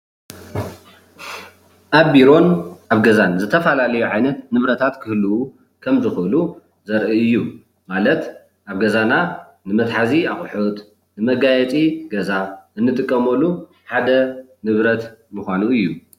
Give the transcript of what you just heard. ኣብ ቢሮን ኣብ ገዛን ዝተፈላለዩ ዓይነታት ንብረታት ክህልው ከም ዝክእሉ ዘርኢ እዩ፣ ማለት ኣብ ገዛና ንመትሓዚ አቁሑት፣ ንመጋየፂ ገዛ እንጥቀመሉ ሓደ ንብረት ምኳኑ እዩ፡፡